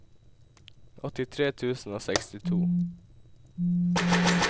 åttitre tusen og sekstito